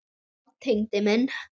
Já, Tengdi minn.